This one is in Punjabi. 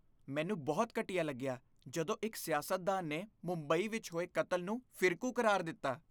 ਮੈਨੂੰ ਬਹੁਤ ਘਟੀਆ ਲੱਗਿਆ ਜਦੋਂ ਇੱਕ ਸਿਆਸਤਦਾਨ ਨੇ ਮੁੰਬਈ ਵਿੱਚ ਹੋਏ ਕਤਲ ਨੂੰ ਫਿਰਕੂ ਕਰਾਰ ਦਿੱਤਾ।